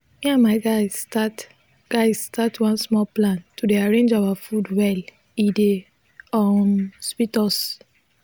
me and my guys start guys start one small plan to dey arrange our food well e dey um sweet us